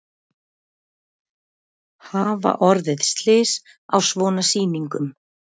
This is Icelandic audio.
Hafa orðið slys á svona sýningum?